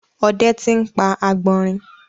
ode ti n pa agbọnrin.